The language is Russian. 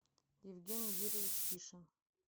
евгений юрьевич ишин